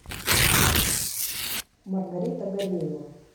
маргарита гореева